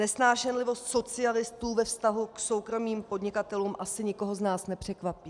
Nesnášenlivost socialistů ve vztahu k soukromým podnikatelům asi nikoho z nás nepřekvapí.